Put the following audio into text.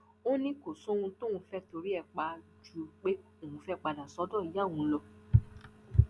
ó ní kò sóhun tóun fẹẹ torí ẹ pa á ju pé òun fẹẹ padà sọdọ ìyá òun lọ